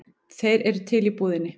Þeir eru til í búðinni.